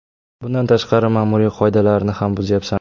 Bundan tashqari, ma’muriy qoidalarni ham buzyapsan.